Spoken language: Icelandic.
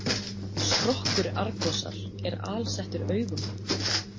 Skrokkur Argosar er alsettur augum.